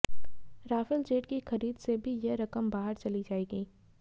Rafale jet की खरीद से भी यह रकम बाहर चली जाएगी